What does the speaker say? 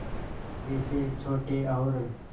जैसे छोटे और